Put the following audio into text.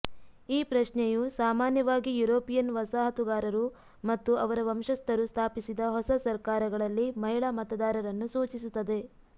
ಈ ಪ್ರಶ್ನೆಯು ಸಾಮಾನ್ಯವಾಗಿ ಯುರೋಪಿಯನ್ ವಸಾಹತುಗಾರರು ಮತ್ತು ಅವರ ವಂಶಸ್ಥರು ಸ್ಥಾಪಿಸಿದ ಹೊಸ ಸರ್ಕಾರಗಳಲ್ಲಿ ಮಹಿಳಾ ಮತದಾರರನ್ನು ಸೂಚಿಸುತ್ತದೆ